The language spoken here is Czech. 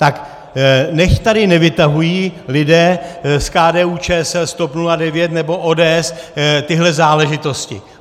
Tak nechť tady nevytahují lidé z KDU-ČSL, TOP 09 nebo ODS tyhle záležitosti!